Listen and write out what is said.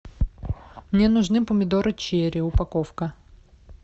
мне нужны помидоры черри упаковка